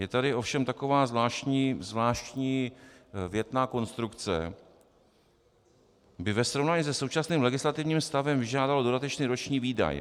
Je tady ovšem taková zvláštní větná konstrukce: "by ve srovnání se současným legislativním stavem vyžádalo dodatečný roční výdaj".